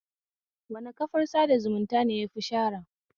Wane kafar sada zumunta ne yafi shara?